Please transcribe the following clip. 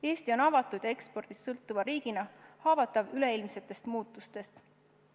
Eesti on avatud ja ekspordist sõltuva riigina haavatav üleilmsetest muutustest.